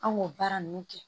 An b'o baara ninnu kɛ